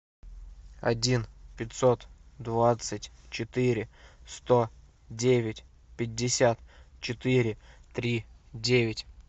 один пятьсот двадцать четыре сто девять пятьдесят четыре три девять